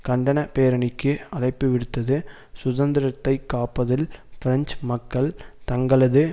கண்டன பேரணிக்கு அழைப்புவிடுத்தது சுதந்திரத்தை காப்பதில் பிரெஞ்சு மக்கள் தங்களது